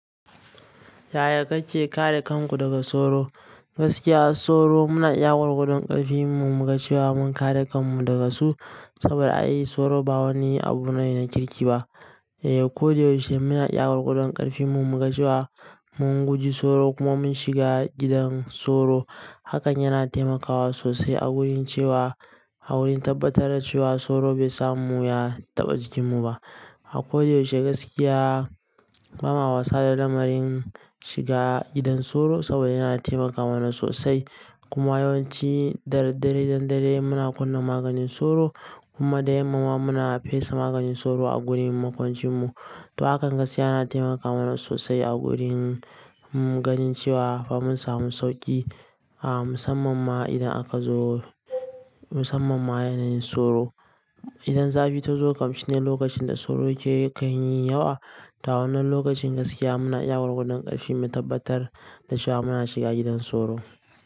Yaya kake kare kanku daga soro? Gaskiya soro muna iya gwargwadon ƙarfi mu muga cewa mun kare kanmu daga su saboda ai soro ba wani abu ne na kirki ba. Eh, ko da yaushe muna iya gwargwadon ƙarfin mu muga cewa mun guji soro kuma mun shiga gidan soro. Hakan yana taimakawa sosai a wurin cewa, a wurin tabbatar da cewa soro bai samu ya taɓa jikinmu ba. A ko da yaushe gaskiya, ba ma wasa da lamarin shiga gidan soro saboda yana taimaka mana sosai. Kuma yawanci da daddare idan dare yayi muna kunna maganin soro kuma da yamma ma muna fesa maganin soro a gurin makwancinmu. To hakan gaskiya yana taimaka mana sosai a wurin mu ganin cewa fa mun samu sauƙi, ah, musamman ma idan aka zo musamman ma yanayin soro. Idan zafi ta zo kam shine lokacin da soro ya ke kan yi yawa. To wannan lokacin gaskiya muna iya gwargwadon ƙarfi mu tabbatar da cewa muna shiga gidan soro.